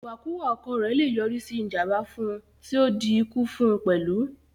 Ìwàkuwà ọkọ̀ rẹ̀ le yọrí sí ìjànbá fún un tí o di ikú fún un pẹ̀lú